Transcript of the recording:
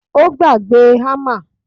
Ó gbàgbé hammer